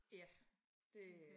Ja det øh